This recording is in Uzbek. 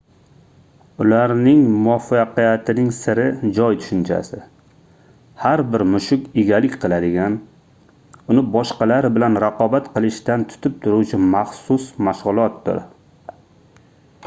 ularning muvaffaqiyatining siri joy tushunchasi har bir mushuk egalik qiladigan uni boshqalar bilan raqobat qilishdan tutib turuvchi maxsus mashgʻulotdir